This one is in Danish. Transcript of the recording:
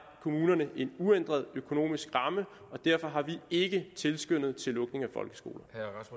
kommunerne en uændret økonomisk ramme og derfor har vi ikke tilskyndet til lukning af folkeskoler